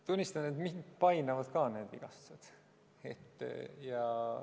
Tunnistan, et mind painavad ka need vigastused.